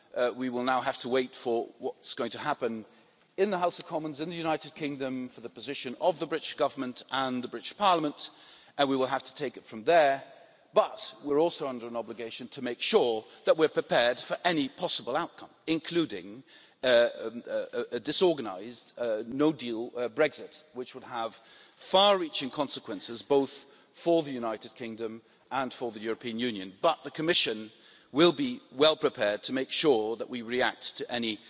We will now have to wait for what's going to happen in the House of Commons in the United Kingdom, for the position of the British Government and the British Parliament, and we will have to take it from there, but, we're also under an obligation to make sure that we are prepared for any possible outcome, including a disorganised no deal Brexit, which would have far reaching consequences both for the United Kingdom and for the European Union, but the Commission will be well prepared to make sure that we react to any